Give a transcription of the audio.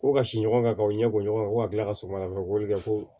Ko ka si ɲɔgɔn kan ka u ɲɛ bɔ ɲɔgɔn kan ko ka tila ka sɔgɔmada fɛ ko kɛ ko